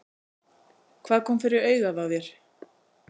Hvað kom fyrir augað á þér?